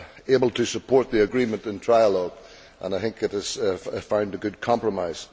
able to support the agreement in trialogue and I think it has found a good compromise.